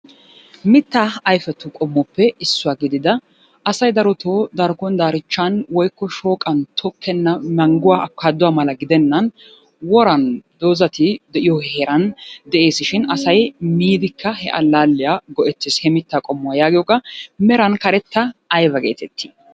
Mittaa ayfetu qommoppe issuwa gidida asay daroto darkko daarichchan woykko shooqan tokkenna mangguwaa afikaatuwaa mala gidenan woran dozati de'iyo heeran de'es shin asay miidikka he allaalliya go'ettes he mittaa qommuwaa yaagiyoga; meran karetta ayba geetettiy?